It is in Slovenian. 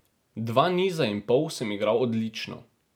Dva niza in pol sem igral odlično.